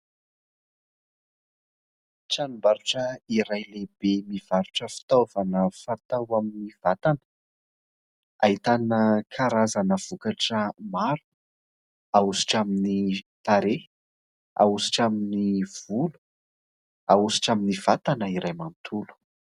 Tranom-barotra iray lehibe, mivarotra fitaovana fatao amin'ny vatana. Ahitana karazana vokatra maro ahositra amin'ny tarehy, ahositra amin'ny volo, ahositra amin'ny vatana iray manontolo.